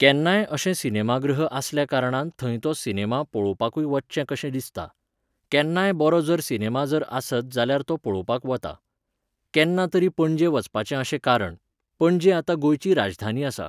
केन्नाय अशे सिनेमागृह आसल्या कारणान थंय ते सिनेमा पळोपाकूय वचचें कशें दिसता. केन्नाय बरो जर सिनेमा जर आसत जाल्यार तो पळोपाक वता. केन्ना तरी पणजे वचपाचें अशें कारण. पणजे आतां गोंयची राजधानी आसा